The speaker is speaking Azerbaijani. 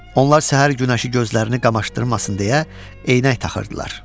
Onlar səhər günəşi gözlərini qamaşdırmasın deyə eynək taxırdılar.